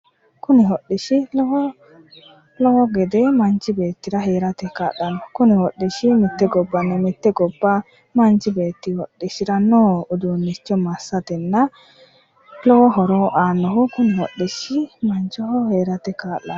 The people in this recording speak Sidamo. Kuni hodhishshi lowo gede manchi beettira heerate kaa'lanno. Kuni hodhishshi mitte gobbanni mitte gobba manchi beetti hodhishshiranno uduunnicho massatenna lowo horo aannoho kuni hodhishshi manchoho heerate kaa'lanno.